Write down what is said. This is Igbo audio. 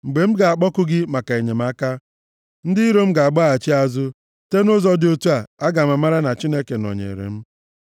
Mgbe m ga-akpọku gị maka enyemaka, ndị iro m ga-agbaghachi azụ. Site nʼụzọ dị otu a, aga m amara na Chineke nọnyeere m.